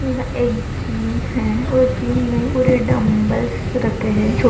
यहाँ एक जिम है और जिम मे पूरे डंबेल्स रखे है। छो --